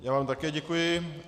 Já vám také děkuji.